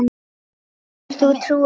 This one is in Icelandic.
Getur þú trúað því?